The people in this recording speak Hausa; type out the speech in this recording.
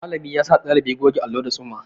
Malami yasa ɗalibi goge allo da tsumma.